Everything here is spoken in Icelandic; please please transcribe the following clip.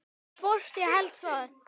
Hvort ég héldi það?